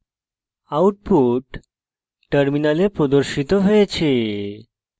output terminal প্রদর্শিত হয়েছে